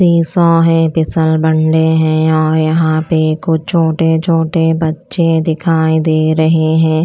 Seesaw है बिसलबंडे हैं और यहाँ पे कुछ छोटे-छोटे बच्चे दिखाई दे रहे हैं।